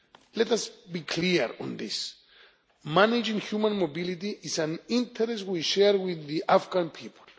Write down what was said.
Let us be clear on this managing human mobility is an interest we share with the Afghan people.